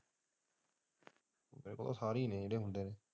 ਉਹ ਸਾਰੇ ਹੀ ਹੈ ਜਿਹੜੇ ਹੁੰਦੇ ਨੇ।